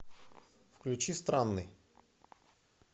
включи странный